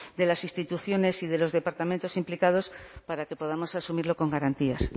de las instituciones y de los departamentos implicados para que podamos asumirlo con garantías